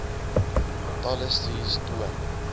talle studies toon